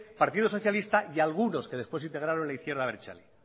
partido socialista y algunos que después se integraron en la izquierda abertzale